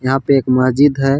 यहाँ पे एक महजीद है।